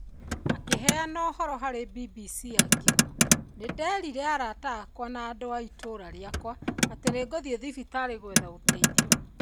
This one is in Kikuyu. Akĩheana ũhoro harĩ BBC akiuga, "Nĩ nderire arata akwa na andũ a itũũra rĩakwa atĩ nĩ ngũthiĩ thibitarĩ gwetha ũteithio".